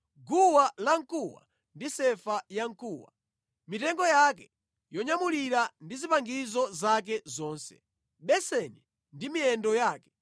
guwa lamkuwa ndi sefa yamkuwa, mitengo yake yonyamulira ndi zipangizo zake zonse; beseni ndi miyendo yake;